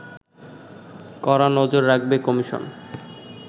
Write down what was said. কড়া নজর রাখবে কমিশন